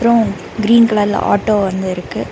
அப்றோம் கிரீன் கலர்ல ஆட்டோ வந்து இருக்கு.